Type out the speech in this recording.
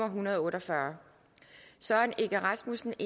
hundrede og otte og fyrre søren egge rasmussen